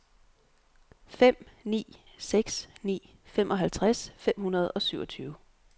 fem ni seks ni femoghalvtreds fem hundrede og syvogtyve